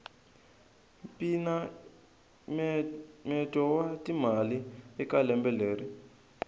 mpinamyeto wa timali eka lembe leri